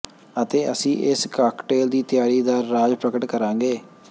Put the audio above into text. ਅਤੇ ਅਸੀਂ ਇਸ ਕਾਕਟੇਲ ਦੀ ਤਿਆਰੀ ਦਾ ਰਾਜ਼ ਪ੍ਰਗਟ ਕਰਾਂਗੇ